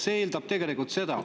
See eeldab tegelikult seda.